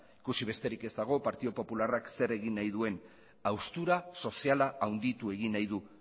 ikusi besterik ez dago partido popularrak zer egin nahi duen haustura soziala handitu egin nahi du